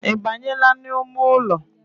Ibanyeela n’ime ụlọ?